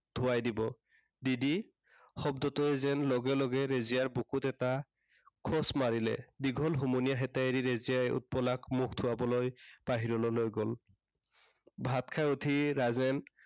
ধোৱাই দিব। দিদি শব্দটোৱে যেন লগ লগে ৰেজিয়াৰ বুকুত এটা খোঁচ মাৰিলে। দীঘল হুমুনিয়াহ এটা এৰি ৰেজিয়াই উৎপলাক মুখ ধোঁৱাবলৈ বাহিৰলৈ লৈ গ'ল। ভাত খাই উঠি ৰাজেন